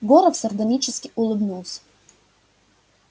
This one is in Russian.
горов сардонически улыбнулся